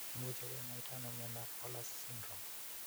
Imuche kinyaita ani miondap Fowler's syndrome?